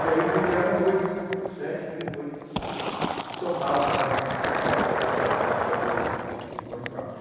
E aí vieram oito, sete, comigo oito, que toparam fazer hum o o Bonifácio.